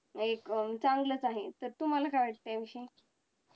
एक चांगलाच आहे तर तुम्हाला काय वाटतंय याविषयी